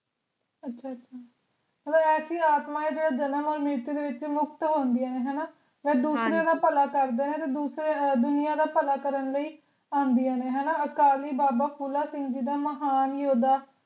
ਅੱਛਾ ਅੱਛਾ ਮਤਲਬ ਐਸੀਆਂ ਆਤਮਾ ਜੋ ਜਨਮ ਓਰ ਮ੍ਰਿਤਯੁ ਦੇ ਵਿਚ ਮੁਕਤ ਹੋਂਦਿਆਂ ਹਨ ਹਣਾ ਤੇ ਦੂਸਰਿਆਂ ਦੇ ਭਲਾ ਕਰਦੀ ਹੈ ਤੇ ਦੂਸਰਿਆਂ ਦੁਨੀਆਂ ਦਾ ਭਲਾ ਕਰਨ ਲਯੀ ਆਂਦੀਆਂ ਨੇ ਹਣਾ ਅਕਾਲੀ ਬਾਬਾ ਫੂਲਾ ਸਿੰਘ ਜੀ the ਮਹਾਨ ਯੋਧਾ